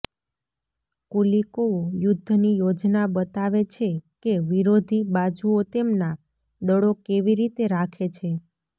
Kulikovo યુદ્ધની યોજના બતાવે છે કે વિરોધી બાજુઓ તેમના દળો કેવી રીતે રાખે છે